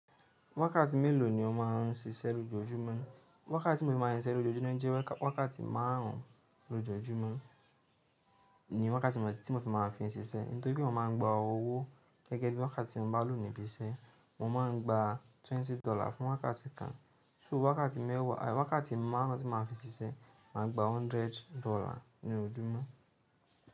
Wákàtí mélòó ni o máa ń ṣiṣẹ́ lójoójúmọ́? Wákàtí tí mo ń fi máa ń ṣiṣẹ́ lójoojúmọ́ jẹ́ wákàtí márùn lójoojúmọ́ ni wákàtí tí mo ń fi máa ń fi ń ṣiṣẹ́. Nítorí pé mo máa ń gba owó gẹ́gẹ́ bí wákàtí tí mo bá lò níbí iṣẹ́. Mo máa ń gba twenty dollar fún wákàtí kan. So wákàtí mẹ́wàá, wákàtí márùn ún tí mo máa ń fi ń ṣiṣẹ́, màá gba hundred dollar ní ojúmọ́.